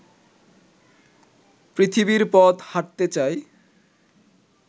পৃথিবীর পথ হাঁটতে চাই